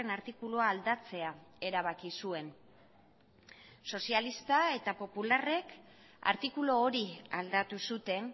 artikulua aldatzea erabaki zuen sozialistek eta popularrek artikulu hori aldatu zuten